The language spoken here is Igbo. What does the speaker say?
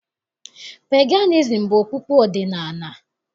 Peganizim bụ okpukpe ọdịnaala.